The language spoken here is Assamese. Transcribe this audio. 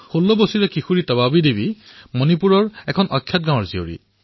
১৬ বৰ্ষীয় যুৱ খেলুৱৈ তবাবী দেৱী মণিপুৰৰ এখন গাঁৱৰ বাসিন্দা